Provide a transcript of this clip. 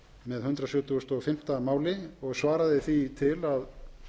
með hundrað sjötugasta og fimmta máli og svaraði því til að